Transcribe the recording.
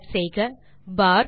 type செய்க பார்